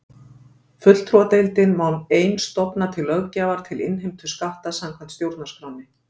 Fulltrúadeildin má ein stofna til löggjafar til innheimtu skatta samkvæmt stjórnarskránni.